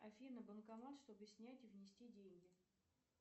афина банкомат чтобы снять и внести деньги